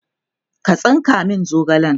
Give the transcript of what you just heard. ka tsinka min zogalen!